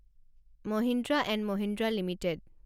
Mahindra and Mahindra limited